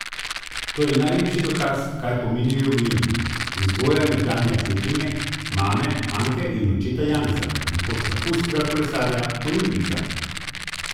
To je najlepši dokaz, kaj pomenijo geni in vzgoja nekdanje atletinje, mame Anke, in očeta Janeza, nekoč vrhunskega kolesarja, olimpijca.